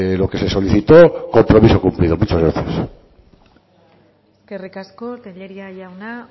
lo que se solicitó compromiso cumplido muchas gracias eskerrik asko tellería jauna